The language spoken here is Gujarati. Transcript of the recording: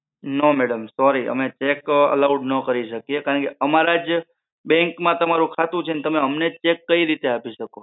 નો madam sorry અમે check allowed ના કરી શકીયે કારણકે અમારા જે bank માં તમારું ખાતું છે તો તમે અમને check કઈ રીતે આપી શકો